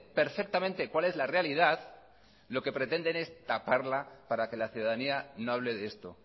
perfectamente cuál es la realidad lo que pretende es taparla para que la ciudadanía no hable de esto